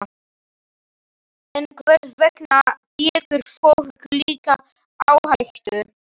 En hvers vegna tekur fólk slíka áhættu?